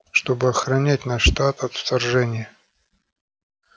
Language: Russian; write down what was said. чтобы охранять наш штат от вторжения